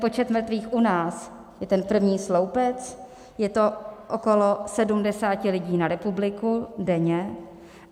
Počet mrtvých u nás je ten první sloupec, je to okolo 70 lidí na republiku denně.